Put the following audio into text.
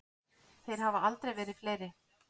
Þeir hafa aldrei verið fleiri.